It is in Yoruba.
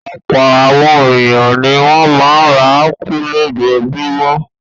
Ọ̀pọ̀ àwọn ènìyàn ni wọ́n máa ń ra ápù lójoojúmọ́.